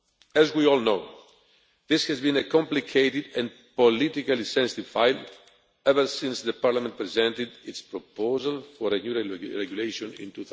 As we all know, this has been a complicated and politically sensitive file ever since the Parliament presented its proposal for a regulation in